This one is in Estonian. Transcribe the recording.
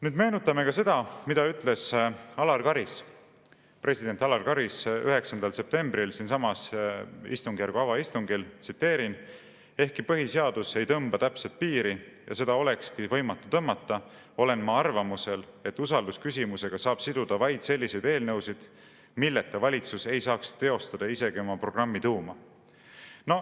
Nüüd meenutame seda, mida ütles president Alar Karis 9. septembril siinsamas istungjärgu avaistungil, tsiteerin: "Ehkki põhiseadus ei tõmba täpset piiri ja seda olekski võimatu tõmmata, olen ma arvamusel, et usaldusküsimusega saab siduda vaid selliseid eelnõusid, milleta valitsus ei saaks teostada isegi oma programmi tuuma.